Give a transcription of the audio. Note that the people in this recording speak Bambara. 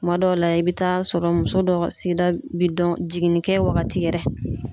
Kuma dɔw la, i bɛ taa sɔrɔ muso dɔ ka sigida bi dɔn, jiginnikɛ wagati yɛrɛ.